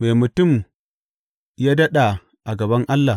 Me mutum ya daɗa a gaban Allah!